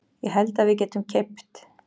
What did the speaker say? Ég held að við getum keypt.